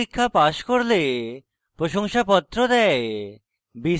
online পরীক্ষা pass করলে প্রশংসাপত্র দেয়